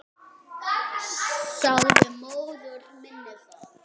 Sagði móður minni það.